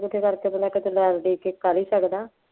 ਇਕੱਠੇ ਇਕੁੱਠੇ ਕਰਕੇ ਬੰਦਾ ਚੱਲੋ ਆਪ ਦੇ ਕੇ ਕਰ ਹੀ ਸਕਦਾ